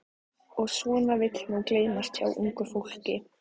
Og svona vill nú gleymast hjá ungu fólki.